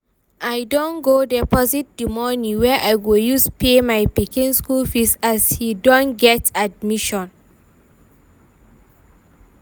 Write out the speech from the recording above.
I don go deposit the money wey I go use pay my pikin school fees as he don get admission